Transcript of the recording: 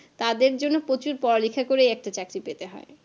তাদের জন্য প্রচুর পড়ালেখা করেই একটা চাকরি পেতে হয়